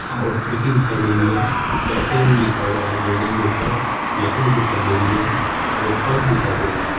हां और खिड़की दिखाई दे रही है पैसेवरी लिखा हुआ है बिल्डिंग के ऊपर लकड़ी दिखाई दे रही है और पर्स दिखाई दे रही है।